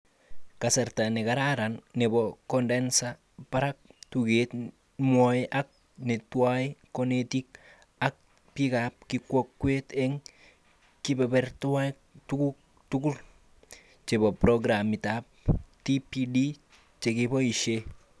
Kasarta nekararan nebo kondensa barak tuget nwai ak neetnwai konetik ak bikab kikwokwet eng kibeberwek tukgul chebo programitab TPD chekeboishe